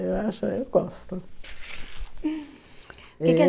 Eu acho eu gosto.